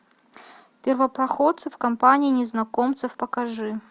первопроходцы в компании незнакомцев покажи